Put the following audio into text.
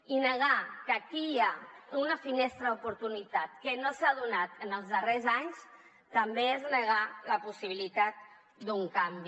i negar que aquí hi ha una finestra d’oportunitat que no s’ha donat en els darrers anys també és negar la possibilitat d’un canvi